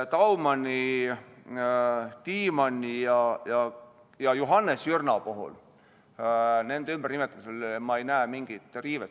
Daumani, Tiimanni ja Johannes Jürna nimede puhul ei näe ma ümbernimetamisel mingit riivet.